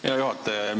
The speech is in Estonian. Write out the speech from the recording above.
Hea juhataja!